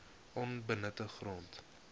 onbenutte grond